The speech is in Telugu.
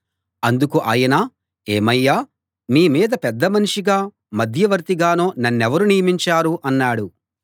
అందుకు ఆయన ఏమయ్యా మీ మీద పెద్దమనిషిగా మధ్యవర్తిగానో నన్నెవరు నియమించారు అన్నాడు